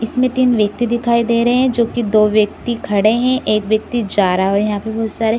इसमे तीन व्यक्ति दिखाई दे रहे है जो की दो व्यक्ति खड़े है एक व्यक्ति जा रहा है और यहाँ पे बहुत सारे--